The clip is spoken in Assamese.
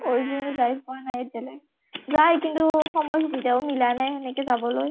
original যাই পোৱা নাই এতিয়ালৈকে। যায় কিন্তু সময় সুবিধাও মিলা নাই সেনেকে যাবলৈ।